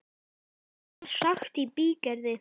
Mikið var sagt í bígerð.